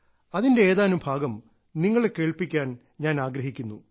അതിന്റെ ഏതാനും ഭാഗം നിങ്ങളെ കേൾപ്പിക്കാൻ ഞാൻ ആഗ്രഹിക്കുന്നു